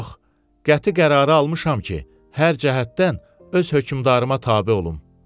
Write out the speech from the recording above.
Yox, qəti qərarı almışam ki, hər cəhətdən öz hökmdarıma tabe olum.